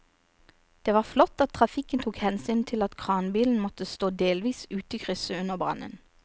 Det var flott at trafikken tok hensyn til at kranbilen måtte stå delvis ute i krysset under brannen.